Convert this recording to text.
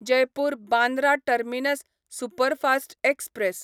Jaipur Bandra terminus superfast express